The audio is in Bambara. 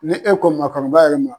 Ni e ko maakɔrɔ yɛrɛ ma